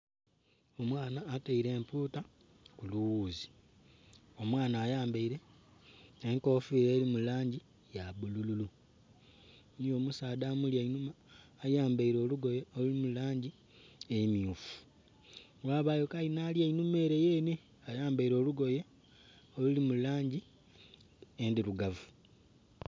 Omwana ataile empuuta ku luwuzi, omwana ayambaile enkofiira eli mu langi ya bbulululu, eliyo omusaadha amuli einhuma ayambaile olugoye oluli mu langi emmyufu, ghabagho kayi nh'ali einhuma ele yenhe ayambaile olugoye oluli mu langi endhirugavu.